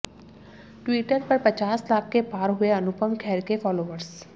Twitter पर पचास लाख के पार हुए अनुपम खेर के फॉलोवर्स